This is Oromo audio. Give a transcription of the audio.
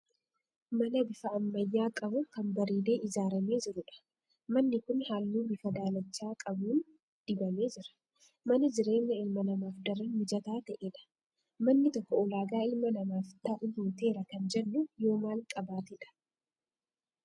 Mana bifa ammayyaa qabu, kan bareedee ijaaramee jirudha. Manni kun halluu bifa daalacha qabuun dibamee jira. Mana jireenya ilma namaaf daran mijataa ta'edha. Manni tokko ulaagaa ilma namaaf ta'u guuteera kan jennu yoo maal qabaatedha?